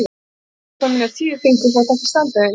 Það veit ég upp á mína tíu fingur, þótt ekki standi það í Njálu.